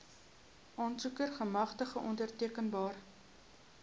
aansoeker gemagtigde ondertekenaar